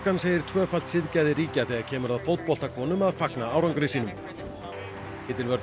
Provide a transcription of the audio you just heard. segir tvöfalt siðgæði ríkja þegar kemur að fótboltakonum að fagna árangri sínum titilvörn